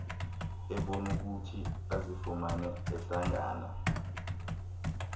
ebenokuthi azifumane ehlangana